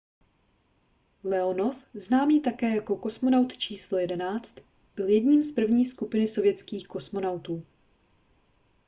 leonov známý také jako kosmonaut číslo 11 byl jedním z první skupiny sovětských kosmonautů